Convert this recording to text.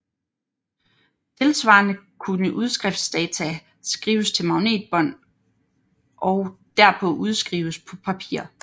Tilsvarende kunne udskriftsdata skrives til magnetbånd og derpå udskrives på papir